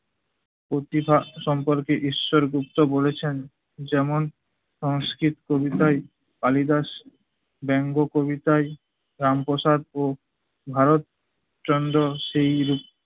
প্রতিভা সম্পর্কে ঈশ্বর গুপ্ত বলেছেন- যেমন সংষ্কৃত কবিতায় কালিদাস, ব্যঙ্গ কবিতায় রাম প্রসাদ ও ভারত চন্দ্র সেইরূপ